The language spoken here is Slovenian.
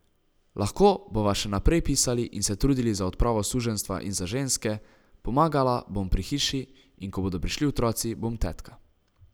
Lahko bova še naprej pisali in se trudili za odpravo suženjstva in za ženske, pomagala bom pri hiši, in ko bodo prišli otroci, bom tetka.